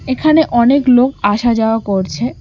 এখানে অনেক লোক আসা যাওয়া করছে।